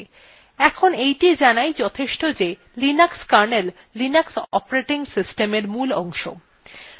এখন এইটি জানাই যথেষ্ট যে linux kernel linux operating system at মূল অংশ